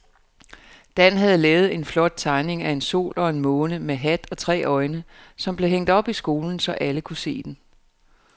Dan havde lavet en flot tegning af en sol og en måne med hat og tre øjne, som blev hængt op i skolen, så alle kunne se den.